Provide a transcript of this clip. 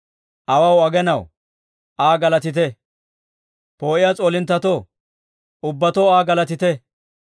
Awaw, aginaw, Aa galatite; poo'iyaa s'oolinttetoo, ubbatoo Aa galatite.